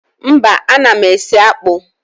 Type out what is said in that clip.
Mba, ana m esi akpụ